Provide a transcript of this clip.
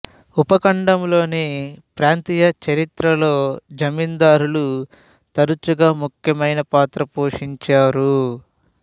ఉపఖండంలోని ప్రాంతీయ చరిత్రలలో జమీందార్లు తరచుగా ముఖ్యమైన పాత్ర పోషించారు